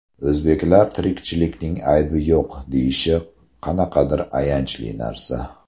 O‘zbeklar tirikchilikning aybi yo‘q, deyishi qanaqadir ayanchli narsa.